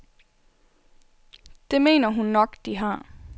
Det mener hun nok, de har.